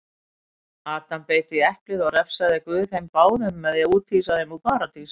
Adam beit í eplið og refsaði guð þeim báðum með því úthýsa þeim úr paradís.